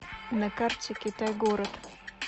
на карте китай город